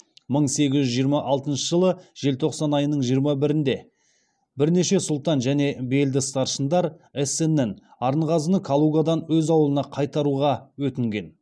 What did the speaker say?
мың сегіз жүз жиырма алтыншы жылы желтоқсан айының жиырма бірінде бірнеше сұлтан және белді старшындар эссеннен арынғазыны калугадан өз ауылына қайтаруға өтінген